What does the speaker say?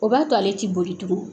O b'a to ale tɛ boli tugun